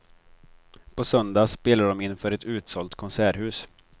På söndag spelar de inför ett utsålt konserthus.